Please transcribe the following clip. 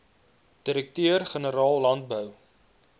direkteur generaal landbou